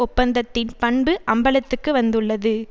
ஒப்பந்தத்தின் பண்பு அம்பலத்துக்கு வந்துள்ளது